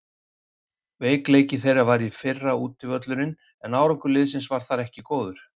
Veikleiki þeirra var í fyrra útivöllurinn en árangur liðsins þar var ekki góður.